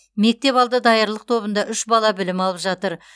мектепалды даярлық тобында үш бала білім алып жатыр